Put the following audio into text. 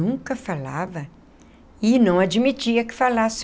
Nunca falava e não admitia que falasse.